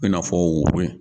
I n'a fɔ wuri in